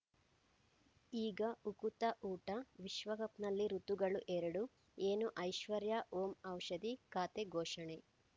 ಈಗ ಉಕುತ ಊಟ ವಿಶ್ವಕಪ್‌ನಲ್ಲಿ ಋತುಗಳು ಎರಡು ಏನು ಐಶ್ವರ್ಯಾ ಓಂ ಔಷಧಿ ಖಾತೆ ಘೋಷಣೆ